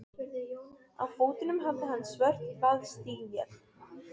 Á fótunum hafði hann svört vaðstígvél.